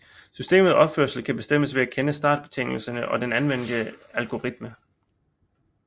Systemets opførsel kan bestemmes ved at kende startbetingelserne og den anvendte algoritme